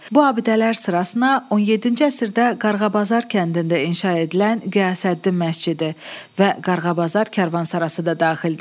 Bu abidələr sırasına 17-ci əsrdə Qarğabazar kəndində inşa edilən Qiyasəddin məscidi və Qarğabazar karvansarası da daxildir.